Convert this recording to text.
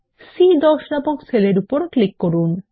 C10 নামক cell এর উপর ক্লিক করুন